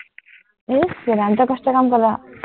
আহ টো কষ্টৰ কাম কৰ